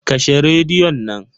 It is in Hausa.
Kashe radion nan.